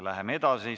Läheme edasi.